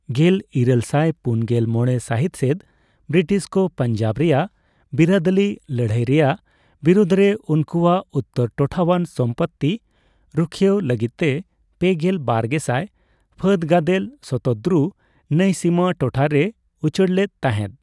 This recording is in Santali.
ᱜᱮᱞ ᱤᱨᱟᱹᱞᱥᱟᱭ ᱯᱩᱱᱜᱮᱞ ᱢᱚᱲᱮ ᱥᱟᱹᱦᱤᱛ ᱥᱮᱫ ᱵᱨᱤᱴᱤᱥ ᱠᱚ ᱯᱟᱧᱡᱟᱵᱽ ᱨᱮᱭᱟᱜ ᱵᱤᱨᱟᱹᱫᱟᱹᱞᱤ ᱞᱟᱹᱲᱦᱟᱹᱭ ᱨᱮᱭᱟᱜ ᱵᱤᱨᱩᱫᱽ ᱨᱮ ᱩᱱᱠᱩᱣᱟᱜ ᱩᱛᱛᱚᱨ ᱴᱚᱴᱷᱟᱣᱟᱱ ᱥᱚᱢᱯᱚᱛᱛᱤ ᱨᱩᱠᱷᱭᱟᱹᱣ ᱞᱟᱹᱜᱤᱫᱛᱮ ᱯᱮᱜᱮᱞ ᱵᱟᱨ ᱜᱮᱥᱟᱭ ᱯᱷᱟᱹᱫ ᱜᱟᱫᱮᱞ ᱥᱚᱛᱚᱫᱨᱩ ᱱᱟᱹᱭ ᱥᱤᱢᱟᱹ ᱴᱚᱴᱷᱟ ᱨᱮᱭ ᱩᱪᱟᱹᱲᱞᱮᱫ ᱛᱟᱦᱮᱸᱫ ᱾